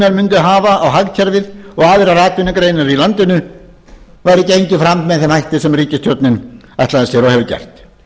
mundu hafa á hagkerfið og aðrar atvinnugreinar í landinu væri gengið fram með þeim hætti sem ríkisstjórnin ætlaði sér og hefur gert